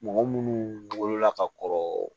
Mɔgɔ munnu wolola ka kɔrɔ